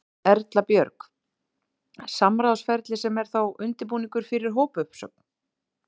Erla Björg: Samráðsferli sem er þá undirbúningur fyrir hópuppsögn?